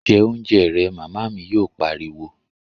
Jẹ oúnjẹ rẹ', Màmá mi yóò pariwo